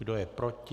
Kdo je proti?